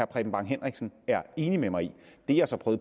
preben bang henriksen er enig med mig i det jeg så